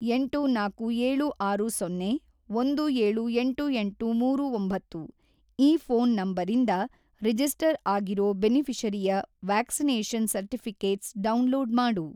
ಎಂಟು ನಾಲ್ಕು ಏಳು ಆರು ಸೊನ್ನೆ ಒಂದು ಏಳು ಎಂಟು ಎಂಟು ಮೂರು ಒಂಬತ್ತು ಈ ಫೋನ್‌ ನಂಬರಿಂದ ರಿಜಿಸ್ಟರ್‌ ಆಗಿರೋ ಬೆನಿಫಿ಼ಷರಿಯ ವ್ಯಾಕ್ಸಿನೇಷನ್‌ ಸರ್ಟಿಫಿ಼ಕೇಟ್ಸ್‌ ಡೌನ್‌ಲೋಡ್‌ ಮಾಡು.